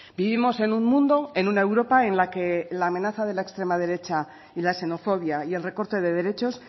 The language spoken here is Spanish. vivimos en un mundo en una europa en la que la amenaza de la extrema derecha y la xenofobia y el recorte de derechos